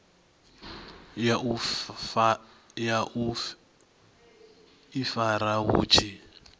ya u ifara vhu tshi